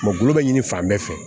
gulɔ bɛ ɲini fan bɛɛ fɛ